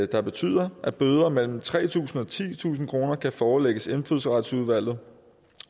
der betyder at bøder på mellem tre tusind kroner og titusind kroner kan forelægges indfødsretsudvalget